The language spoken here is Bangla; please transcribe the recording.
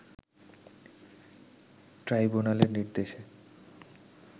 ট্রাইব্যুনালের নির্দেশে